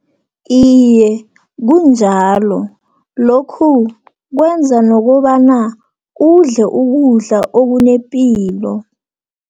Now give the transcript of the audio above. Iye, kunjalo lokhu, kwenza nokobana udle ukudla okunepilo.